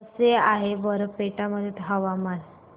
कसे आहे बारपेटा मध्ये हवामान